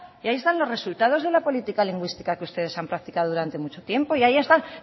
y ahí están los resultados de la política lingüística que ustedes han practicado durante mucho tiempo y ahí están